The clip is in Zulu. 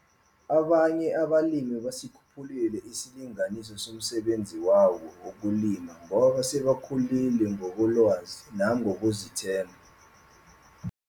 Abanye abalimi basikhuphulile isilinganiso somsebenzi wabo wokulima ngoba sebekhulile ngokolwazi namgokuzithemba.